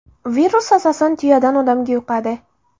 Virus asosan tuyadan odamga yuqadi.